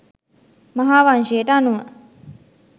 මහා වංශයට අනුව